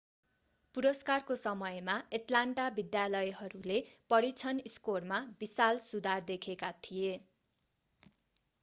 पुरस्कारको समयमा एट्लान्टा विद्यालयहरूले परीक्षण स्कोरमा विशाल सुधार देखेका थिए